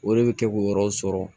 O de bɛ kɛ k'o yɔrɔ sɔrɔ